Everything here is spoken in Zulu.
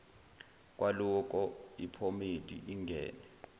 kwaloko iphomedi ingeke